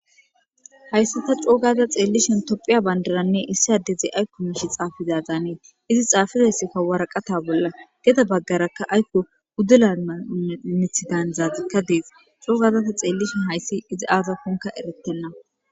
Hayssi ta coogaza xeellishen tophiya bandaranne issi adeze aykko miishi xaafizazaanee izi xaafizaysikka waraqata bolla geda baggarakka aykko guddula mamithidaan zaazikka dees coogaza ta xeellishen hayssi izi aaza kunka eretenna.